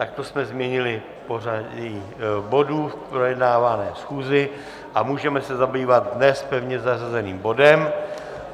Tak to jsme změnili pořadí bodů v projednávané schůzi a můžeme se zabývat dnes pevně zařazeným bodem.